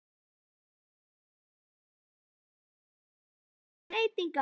Nær Stjarnan að berjast um titla þrátt fyrir miklar breytingar?